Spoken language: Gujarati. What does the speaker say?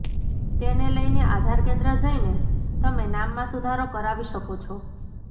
તેને લઈને આધાર કેન્દ્ર જઈને તમે નામમાં સુધારો કરાવી શકો છો